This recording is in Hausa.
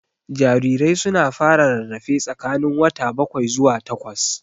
Jarirai su na fara rarrafe tsakanin wata bakwai zuwa takwas